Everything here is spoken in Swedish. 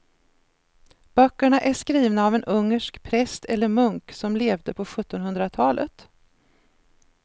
Böckerna är skrivna av en ungersk präst eller munk som levde på sjuttonhundratalet.